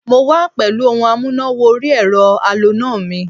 Mo wá pẹ̀lú ohun amúná-wọ-orí-ẹ̀rọ aloná mi